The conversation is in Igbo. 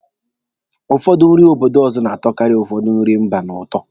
Ụfọdụ nri obodo ọzọ na-atọkarị ụfọdụ nri mba n'ụtọ.